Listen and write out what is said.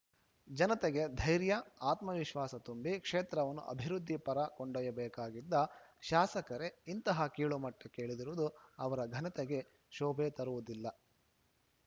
ಜನತೆಗೆ ಧೈರ್ಯ ಆತ್ಮವಿಶ್ವಾಸ ತುಂಬಿ ಕ್ಷೇತ್ರವನ್ನು ಅಭಿವೃದ್ಧಿ ಪರ ಕೊಂಡೊಯ್ಯಬೇಕಾಗಿದ್ದ ಶಾಸಕರೇ ಇಂತಹ ಕೀಳುಮಟ್ಟಕ್ಕೆ ಇಳಿದಿರುವುದು ಅವರ ಘನತೆಗೆ ಶೋಭೆ ತರುವುದಿಲ್ಲ